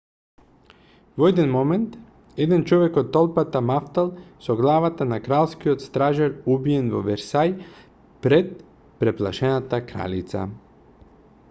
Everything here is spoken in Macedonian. во еден момент еден човек од толпата мавтал со главата на кралскиот стражар убиен во версај пред преплашената кралица